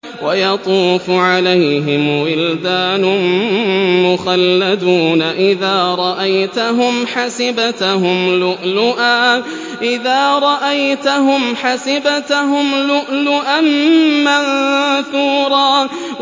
۞ وَيَطُوفُ عَلَيْهِمْ وِلْدَانٌ مُّخَلَّدُونَ إِذَا رَأَيْتَهُمْ حَسِبْتَهُمْ لُؤْلُؤًا مَّنثُورًا